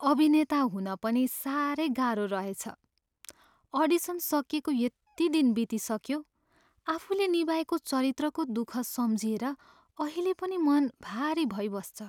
अभिनेता हुन पनि साह्रै गाह्रो रहेछ। अडिसन सकिएको यति दिन बितिसक्यो, आफुले निभाएको चरित्रको दुःख सम्झिएर अहिले पनि मन भारी भइबस्छ।